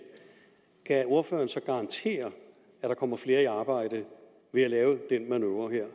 kan ordføreren så garantere at der kommer flere i arbejde ved at lave den manøvre her